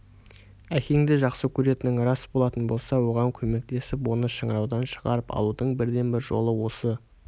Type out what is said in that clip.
әкеңді жақсы көретінің рас болатын болса оған көмектесіп оны шыңыраудан шығарып алудың бірден-бір жолы осы